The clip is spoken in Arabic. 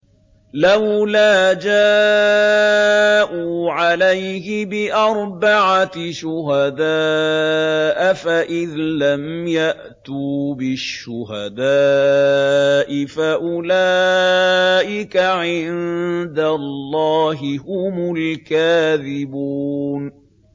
لَّوْلَا جَاءُوا عَلَيْهِ بِأَرْبَعَةِ شُهَدَاءَ ۚ فَإِذْ لَمْ يَأْتُوا بِالشُّهَدَاءِ فَأُولَٰئِكَ عِندَ اللَّهِ هُمُ الْكَاذِبُونَ